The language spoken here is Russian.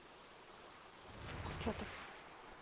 курчатов